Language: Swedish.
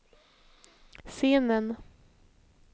scenen